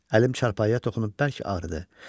Əlim çarpayıya toxunub bərk ağrıdı.